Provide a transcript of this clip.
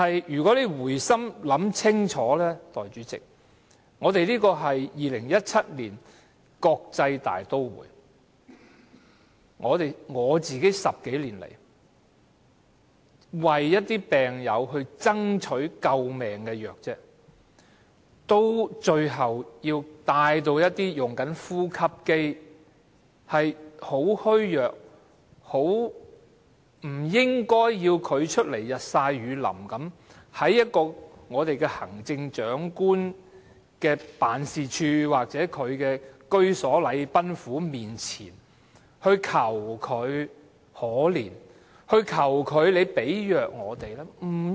然而，代理主席，回心一想，在2017年香港這個國際大都會，我要為病友爭取救命藥物10多年，最後還要請那些正使用呼吸機、十分虛弱、不應日曬雨淋的病友站出來，到行政長官辦事處或禮賓府面前，求特首憐憫，為他們提供藥物。